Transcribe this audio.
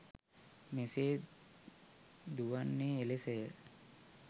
මෙසේ දුවන්නේ එලෙසය.